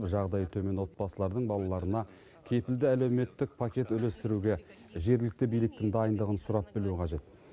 жағдайы төмен отбасылардың балаларына кепілді әлеуметтік пакет үлестіруге жергілікті биліктің дайындығын сұрап білу қажет